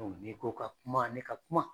Ni ko n ka kuma ne ka kuma